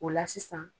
O la sisan